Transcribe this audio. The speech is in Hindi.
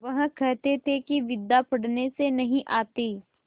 वह कहते थे कि विद्या पढ़ने से नहीं आती